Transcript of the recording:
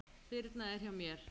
Birna er hjá mér.